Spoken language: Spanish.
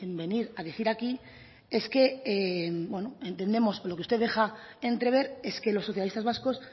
venir a decir aquí es que entendemos lo que usted deja entrever es que los socialistas vascos